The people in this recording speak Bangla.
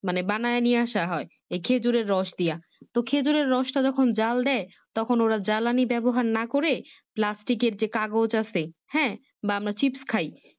মানে বানিয়ে নিয়ে আসা হয় খেজুরের রস দিয়া তো খেজুরের রসটা যখন জাল দেয় তখন ওরা জ্বালানি ব্যবহার না করে Plastic এর যে কাগজ আছে হ্যাঁ বা আমরা Chifs খাই